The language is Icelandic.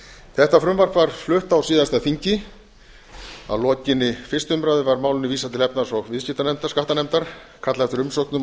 þetta frumvarp var flutt á síðasta þingi að lokinni fyrstu umræðu var málinu vísað til efnahags og viðskiptanefndar skattanefndar kallað eftir umsögnum og